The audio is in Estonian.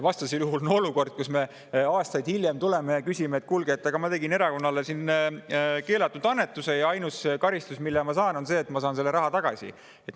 Vastasel juhul on olukord, kus me aastaid hiljem tuleme ja küsime, et kuulge, ma tegin erakonnale keelatud annetuse ja ainus karistus, mille ma saan, on see, et ma saan selle raha tagasi.